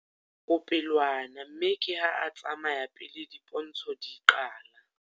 O pelwana mme ke ha a tsamaya pele dipontsho di qala.